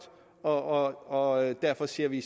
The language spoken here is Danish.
og og derfor siger vi